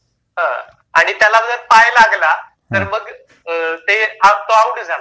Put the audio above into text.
हां आणि त्याला जर पाय लागला, तर मग ते तो आउट झाला.